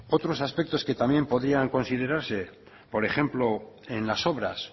otros aspectos que también podrían considerarse por ejemplo en las obras